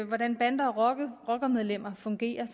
hvordan bander og rockermedlemmer fungerer